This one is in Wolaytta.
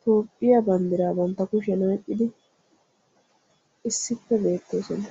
Toophphiya banddiraa bantta kushiyan oyqqidi issippe beettoosona.